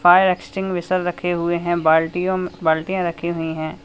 Fire extinguisher रखे हुए हैं बाल्टियों बाल्टिया रखी हुई है।